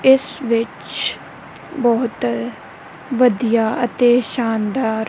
ਇਸ ਵਿੱਚ ਬਹੁਤ ਵਧੀਆ ਅਤੇ ਸ਼ਾਨਦਾਰ--